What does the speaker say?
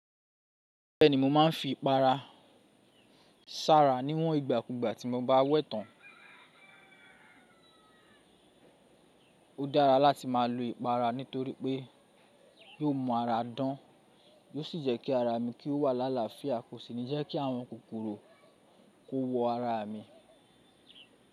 Bẹ́ẹ̀ni, mo máa ń fi ìpara sára níwọ̀n ìgbàkúgbà tí mo bá wẹ tán. Ó dára láti máa lo ìpara nítorí pé yóò mú ara dán, yóò sì jẹ́ kí ara mi kí ó wà lála fìyà, kò sì ní jẹ́ kí àwọn kòkòrò kó wo ara mi.